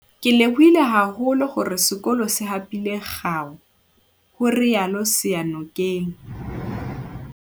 "Ke lebohile haholo hore sekolo se hapile kgao," ho rialo Seyanokeng